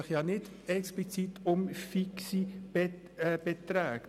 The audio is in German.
Es geht nicht um fixe Beträge.